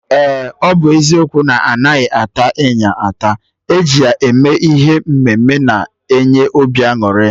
Eh! Ọ bụ eziokwu na-anaghị ata ịnyịnya, eji ya eme ihe mme mme na-enye obi añụrị